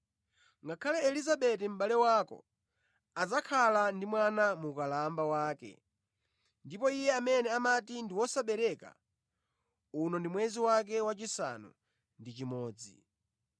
Ngakhale Elizabeti mʼbale wako adzakhala ndi mwana mu ukalamba wake ndipo iye amene amati ndi wosabereka, uno mwezi wake wachisanu ndi chimodzi.